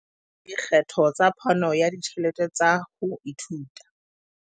Dikgetho tsa phano ya ditjhelete tsa ho ithuta.